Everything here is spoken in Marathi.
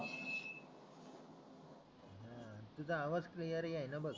तुझा आवाज क्लिअर येईना बघ